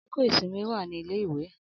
Akoko isinmi wa ni ile-iwe.